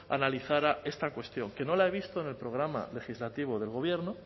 analizara esta cuestión que no la he visto en el programa legislativo del gobierno